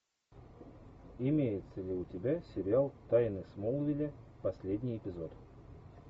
имеется ли у тебя сериал тайны смолвиля последний эпизод